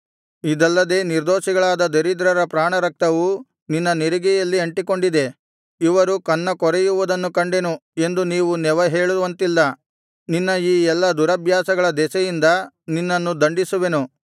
ಇದಲ್ಲದೆ ನಿರ್ದೋಷಿಗಳಾದ ದರಿದ್ರರ ಪ್ರಾಣರಕ್ತವು ನಿನ್ನ ನೆರಿಗೆಯಲ್ಲಿ ಅಂಟಿಕೊಂಡಿದೆ ಇವರು ಕನ್ನ ಕೊರೆಯುವುದನ್ನು ಕಂಡೆನು ಎಂದು ನೀವು ನೆವ ಹೇಳುವಂತಿಲ್ಲ ನಿನ್ನ ಈ ಎಲ್ಲಾ ದುರಭ್ಯಾಸಗಳ ದೆಸೆಯಿಂದ ನಿನ್ನನ್ನು ದಂಡಿಸುವೆನು